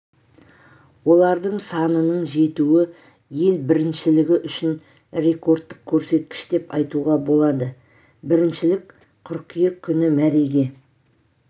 олардың санының жетуі ел біріншілігі үшін рекордтық көрсеткіш деп айтуға болады біріншілік қыркүйек күні мәреге